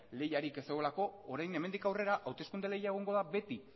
lehiarik ez zegoelako orain hemendik aurrera hauteskunde lehia egongo da beti